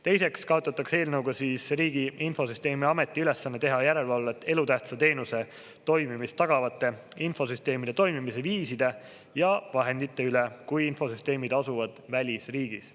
Teiseks kaotatakse eelnõuga siis Riigi Infosüsteemi Ameti ülesanne teha järelevalvet elutähtsa teenuse toimimist tagavate infosüsteemide toimimise viiside ja vahendite üle, kui infosüsteemid asuvad välisriigis.